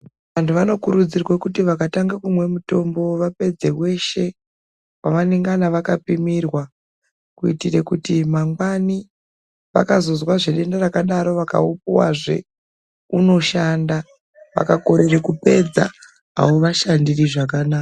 Vantu vanokurudzirwa kuti vakatanga kumwe mutombo vapedze weshe wavanengana vakapimirwa kuitire kuti mangwani vakazozwazve rino rakadaro vakaupuwazve unoshanda, vakakorere kupedza, haungavashandiri zvakanaka.